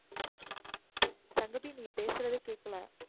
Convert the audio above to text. சங்கவி நீங்க பேசுறதே கேக்கல